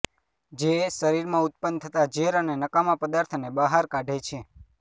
જે શરિરમાં ઉત્પન્ન થતા ઝેર અને નકામા પદાર્થને બહાર કાઢે છે